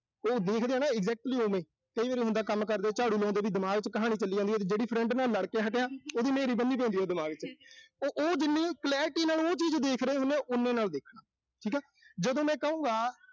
ਉਹ ਦੇਖਦੇ ਆਂ ਨਾ exactly ਓਵੇਂ। ਕਈ ਵਾਰ ਹੁੰਦਾ ਵੀ, ਕੰਮ ਕਰਦੇ, ਝਾੜੂ ਲਾਉਂਦੇ ਵੀ ਦਿਮਾਗ ਚ ਕਹਾਣੀ ਚੱਲੀ ਜਾਂਦੀ ਹੁੰਦਾ ਆ ਵੀ ਜਿਹੜੀ friend ਨਾਲ ਲੜ ਕੇ ਹਟੇ ਆਂ। ਉਹਦੀ ਨ੍ਹੇਰੀ ਬੰਨ੍ਹੀ ਜਾਂਦੀ ਹੋਊ ਦਿਮਾਗ ਚ। ਤਾਂ ਉਹ ਜਿੰਨੀ clarity ਨਾਲ ਉਹ ਚੀਜ਼ ਦੇਖ ਰਹੇ ਹੁੰਨੇ ਆਂ। ਓਨੇ ਨਾਲ ਦੇਖਣਾ। ਠੀਕਾ। ਜਦੋਂ ਮੈਂ ਕਹੂੰਗਾ।